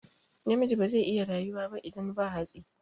Namiji bazai iya rayuwa ba idan ba hatsi